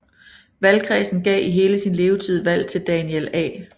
Valgkredsen gav i hele sin levetid valg til Daniel A